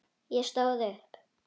Ég stóð upp.